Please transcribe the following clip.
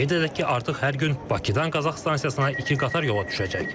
Qeyd edək ki, artıq hər gün Bakıdan Qazax stansiyasına iki qatar yola düşəcək.